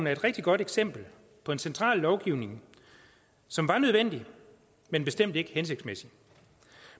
er et rigtig godt eksempel på en central lovgivning som var nødvendig men bestemt ikke hensigtsmæssig